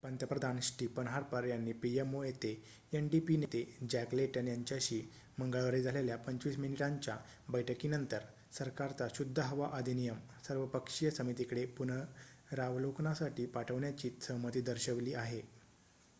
पंतप्रधान Stephen Harper यांनी pmo येथे ndp नेते जॅक लेटन यांच्याशी मंगळवारी झालेल्या 25 मिनिटांच्या बैठकीनंतर सरकारचा शुद्ध हवा अधिनियम' सर्वपक्षीय समितीकडे पुनरावलोकनासाठी पाठवण्याची सहमती दर्शवली आहे